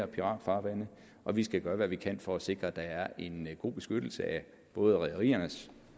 piratfarvande og vi skal gøre hvad vi kan for at sikre at der er en god beskyttelse af både rederiernes